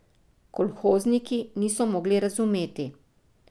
Kolhozniki niso mogli razumeti ...